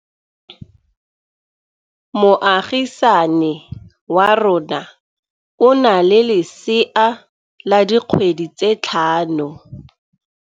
Moagisane wa rona o na le lesea la dikgwedi tse tlhano.